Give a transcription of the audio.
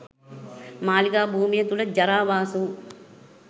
මාලිගා භූමිය තුළ ජරාවාස වූ